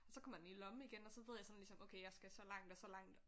Så kommer jeg den i lommen igen og så ved jeg sådan ligesom okay jeg skal så langt og så langt